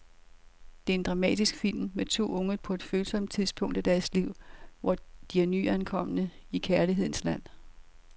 Det er en dramatisk film med to unge på et følsomt tidspunkt af deres liv, hvor de er nyankomne i kærlighedens land.